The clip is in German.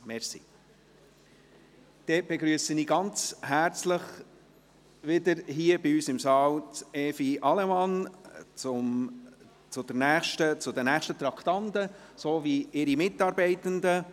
Dann begrüsse ich Evi Allemann sowie ihre Mitarbeitenden wieder ganz herzlich hier bei uns im Saal für die nächsten Traktanden.